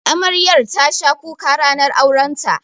Amaryar tasha kuka ranar aurenta.